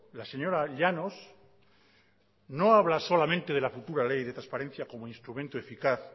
la señora llanos no habla solamente de la futura ley de transparencia como instrumento eficaz